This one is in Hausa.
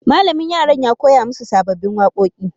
Malamin yaran ya koya musu sababbin wakoki.